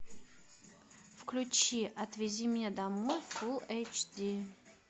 включи отвези меня домой фулл эйч ди